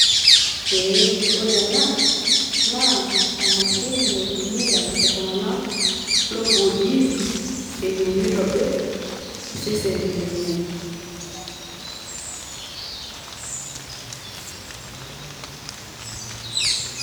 eeh ore ena naa emashini naitumia iltungank lopuo gym eyieu nitobir iseseni lenye.